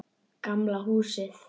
Gamla húsið.